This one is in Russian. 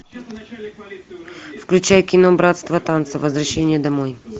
включай кино братство танца возвращение домой